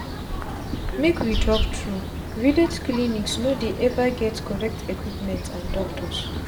make we talk truevillage clinics no dey ever get correct equipment and doctors.